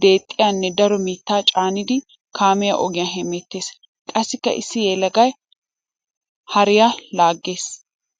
deexxiyanne daro mitta caaniddi kaamiya ogiya hemeetes. Qassikka issi yelagay hariya laages.